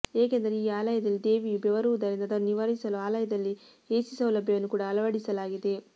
ಏಕೆಂದರೆ ಈ ಆಲಯದಲ್ಲಿ ದೇವಿಯು ಬೆವರುವುದರಿಂದ ಅದನ್ನು ನಿವಾರಿಸಲು ಆಲಯದಲ್ಲಿ ಎಸಿ ಸೌಲಭ್ಯವನ್ನು ಕೂಡಾ ಅಳವಡಿಸಲಾಗಿದೆ